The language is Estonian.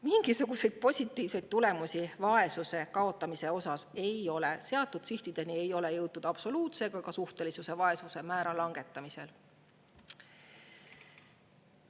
Mingisuguseid positiivseid tulemusi vaesuse kaotamisel ei ole, sihtideni ei ole jõutud absoluutse ega ka suhtelise vaesuse määra langetamisel.